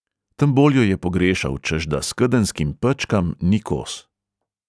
Tem bolj jo je pogrešal, češ da skedenjskim pečkam ni kos.